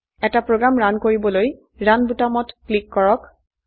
এটা program run কৰিবলৈ run বোতামত টিপক